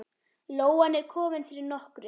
Lóan er komin fyrir nokkru.